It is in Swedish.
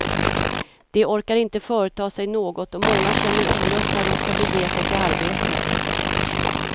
De orkar inte företa sig något och många känner olust när de ska bege sig till arbetet.